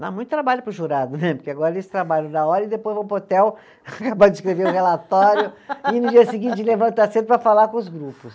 Dá muito trabalho para o jurado né, porque agora eles trabalham na hora e depois vão para o hotel, acabar de escrever o relatório e no dia seguinte levantam a cena para falar com os grupos.